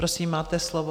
Prosím, máte slovo.